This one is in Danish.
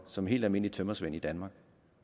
som helt almindelig tømrersvend i danmark